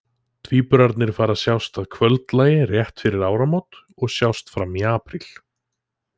Tvíburarnir fara að sjást að kvöldlagi rétt fyrir áramót og sjást fram í apríl.